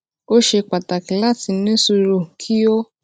ó ṣe pàtàkì láti ní sùúrù kí o